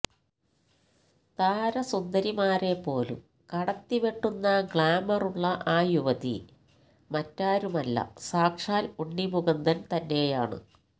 താരസുന്ദരിമാരെ പോലും കടത്തിവെട്ടുന്ന ഗ്ലാമറുള്ള ആ യുവതി മറ്റാരുമല്ല സാക്ഷാല് ഉണ്ണി മുകുന്ദന് തന്നെയാണ്